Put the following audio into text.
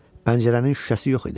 Pəncərənin şüşəsi yox idi.